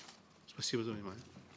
спасибо за внимание